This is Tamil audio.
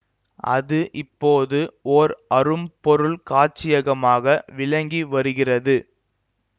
அது இப்போது ஓர் அரும் பொருள் காட்சியகமாக விளங்கி வருகிறது